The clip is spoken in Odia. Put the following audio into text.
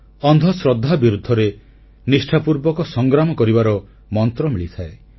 ଅନ୍ଧଶ୍ରଦ୍ଧା ବିରୁଦ୍ଧରେ ନିଷ୍ଠାପୂର୍ବକ ସଂଗ୍ରାମ କରିବାର ମନ୍ତ୍ର ମିଳିଥାଏ